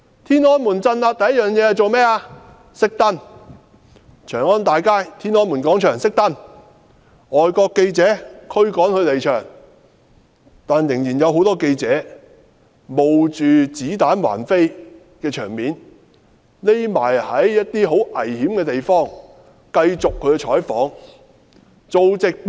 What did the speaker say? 天安門鎮壓時，第一件事是"熄燈"，長安街、天安門廣場"熄燈"，驅趕外國記者離場，但仍然有很多記者不顧子彈橫飛，躲在很危險的地方繼續採訪和直播。